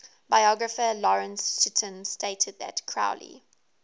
biographer lawrence sutin stated that crowley